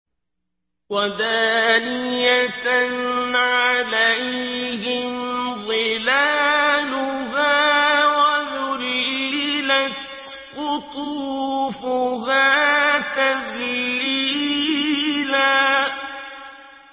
وَدَانِيَةً عَلَيْهِمْ ظِلَالُهَا وَذُلِّلَتْ قُطُوفُهَا تَذْلِيلًا